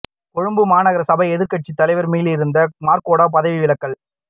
கொழும்பு மாநகர சபை எதிர்கட்சி தலைவர் மிலிந்த மொரகொட பதவி விலகல்